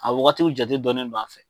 A wagatiw jate dɔnnen no an fɛ.